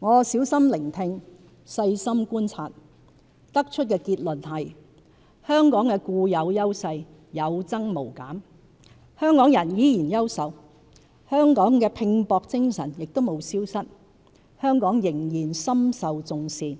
我小心聆聽、細心觀察，得出的結論是香港的固有優勢有增無減，香港人依然優秀，香港的拼搏精神亦無消失，香港仍然深受重視，